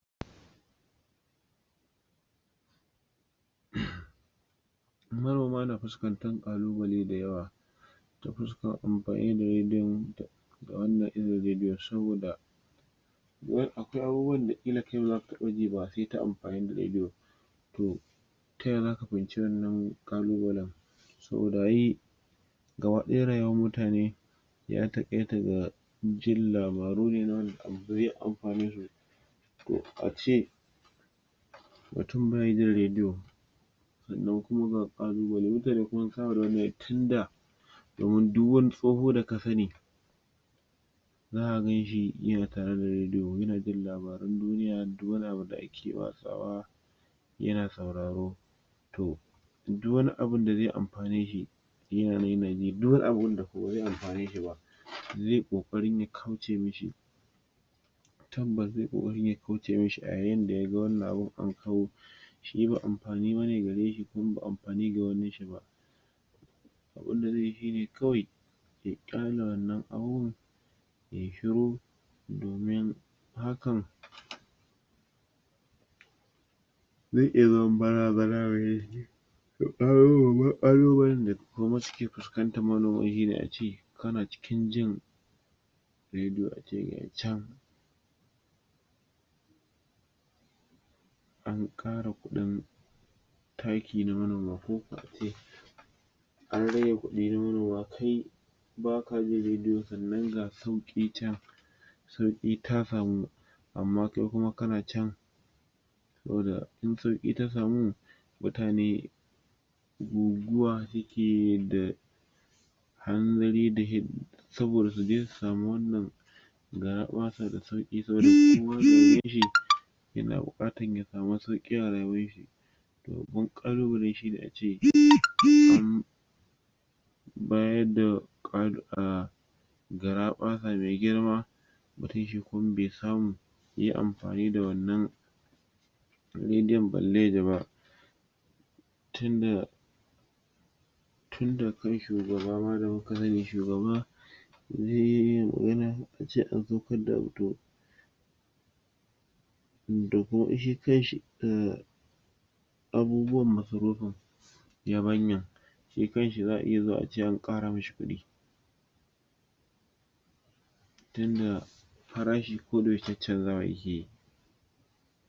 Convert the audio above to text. Manoma na fuskantan kalubale da yawa ta fuskan amfani da rediyon ga wannan irin rediyon saboda wai akwai abubuwan da kila kai baza ka taba ji ba sai ta amfani da rediyo to taya zaka fahimce wannan kalubalen saboda yi gaba daya rayuwan mutane ya takaita ga jin labaru ne na wanda amfanesu to ace mutum be jin rediyo sannan kuma ga kalubale mutane kuma sun saba da tun da domin duk wani tsoho daka sani zaka ganshi yana tare da rediyo yana jin labaran duniya duk wani abu da ake watsawa yana sauraro to duk wani abun da zai amfaneshi yana mai duk wani abu da ko wanda ba zai amfaneshi zai kokarin ya kauce mashi tabbas zai kokarin ya kauce mashi a yayin da yaga wannan abun an kau shi ba amfani bane gareshi kuma ba amfani ga wanin shi ba abunda zai yi shine kawai ya kyale wannan abubuwan ye shiru domin hakan?? zai iya zaman bar[????] [?????] babban kalubalen da kuma suke fuskanta manoman ace kana cikin jin rediyo ace gashi chan an kara kudin taki na manoma koko ace an rage kudi na manoma kai baka jin rediyo sannan ga sauki chan sauki ta samu amma kai kuma kana chan saboda in sauki ta samu mutane guguwa suke da hanzari da saboda su je su samu wannan garabasa da sauki saboda su sameshi yana bukatan ya samu sauki a rayuwanshi to babban kalubale ne ace an an bayar da um garabasa me girma mutum shi kuma be samu ye amfani da wannan medium balle yaji ba tunda tunda kai shugaba ma da muka sani shugaba zai magana yace an saukar da abu to doko shi kanshi um um abubuwan masarufin yabanya shi kanshi zaa iya zuwa a ce an kara mashi kudi tunda farashi ko da yaushe chanchanzawa yake